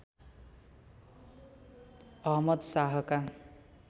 Ahmad शाहका